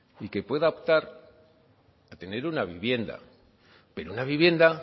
y que pueda optar a tener una vivienda pero una vivienda